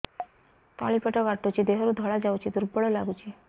ତଳି ପେଟ କାଟୁଚି ଦେହରୁ ଧଳା ଯାଉଛି ଦୁର୍ବଳ ଲାଗୁଛି